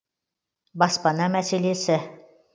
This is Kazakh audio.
баспана мәселесі